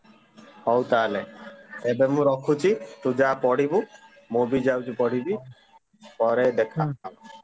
ହଉ ତାହେଲେ ଏବେ ମୁଁ ରଖୁଛି, ତୁ ଯାଆ ପଢିବୁ, ମୁଁ ବି ଯାଉଚି ପଢିବି, ପରେ ଦେଖା ହବା।